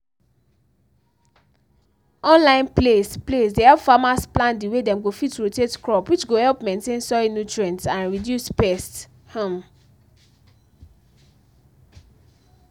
online place place dey help farmers plan dey way dem go fit rotate crop which go help maintain soil nutrients and reduce pest um